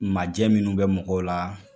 Ma jɛ minnu be mɔgɔw la